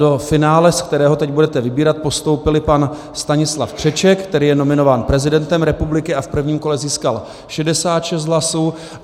Do finále, z kterého teď budete vybírat, postoupil pan Stanislav Křeček, který je nominován prezidentem republiky a v prvním kole získal 66 hlasů.